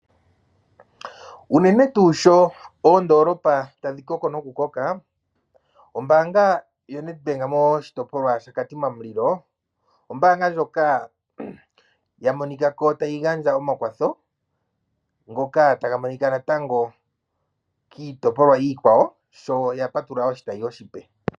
Uunene tuu sho oondolopa tadhi koko noku koka ombanga yoNedbank moshitopolwa shaKatima Mulilo ombanga ndjoka ya monikako tayi gandja omakwatho ngoka taga monika natango kiitopolwa iikwawo shoya patulula oshitayi oshipe.